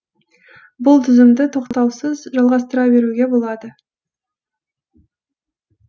бұл тізімді тоқтаусыз жалғастыра беруге болады